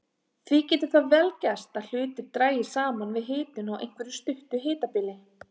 Því getur það vel gerst að hlutir dragist saman við hitun á einhverju stuttu hitabili.